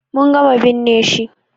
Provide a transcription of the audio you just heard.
Mun gama binne shi.